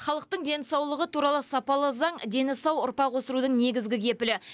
халықтың денсаулығы туралы сапалы заң дені сау ұрпақ өсірудің негізгі кепілі